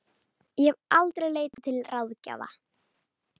Ég hef aldrei leitað til ráðgjafa.